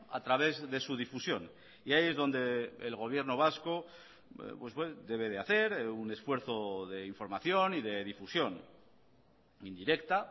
a través de su difusión y ahí es donde el gobierno vasco debe de hacer un esfuerzo de información y de difusión indirecta